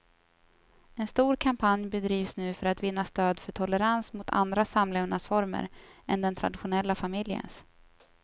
En stor kampanj bedrivs nu för att vinna stöd för tolerans mot andra samlevnadsformer än den traditionella familjens.